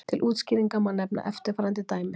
til útskýringar má nefna eftirfarandi dæmi